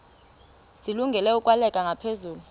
zilungele ukwalekwa ngaphezulu